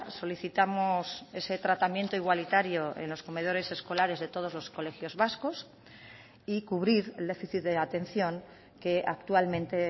solicitamos ese tratamiento igualitario en los comedores escolares de todos los colegios vascos y cubrir el déficit de atención que actualmente